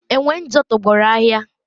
enwe njo tọgbọrọ ahịa